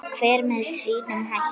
Hver með sínum hætti.